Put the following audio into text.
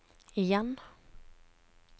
igjen